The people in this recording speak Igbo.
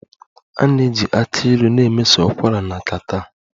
A ga-eji aki Ilu na-emeso ụkwara na catarrh